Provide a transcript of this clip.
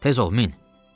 Tez ol min.